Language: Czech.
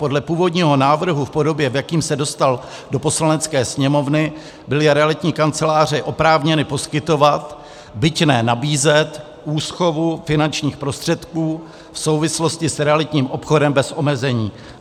Podle původního návrhu v podobě, v jaké se dostal do Poslanecké sněmovny, byly realitní kanceláře oprávněny poskytovat, byť ne nabízet, úschovu finančních prostředků v souvislosti s realitním obchodem bez omezení.